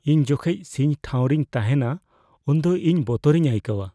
ᱤᱧ ᱡᱚᱠᱷᱮᱡ ᱥᱤᱧ ᱴᱷᱟᱶ ᱨᱤᱧ ᱛᱟᱦᱮᱸᱱᱟ ᱩᱱᱫᱚ ᱤᱧ ᱵᱚᱛᱚᱨᱤᱧ ᱟᱹᱭᱠᱟᱹᱣᱟ ᱾